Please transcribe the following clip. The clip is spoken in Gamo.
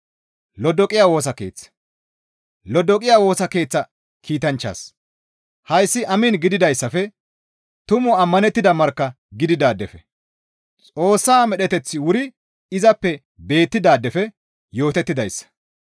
«Lodoqiya Woosa Keeththa kiitanchchaas, ‹Hayssi amiin› gidayssafe, tumu ammanettida markka gididaadefe, Xoossa medheteththi wuri izappe beettidaadefe yootettidayssa.